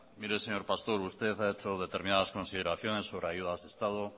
mire señor pastor usted ha hecho determinadas consideraciones sobre ayudas de estado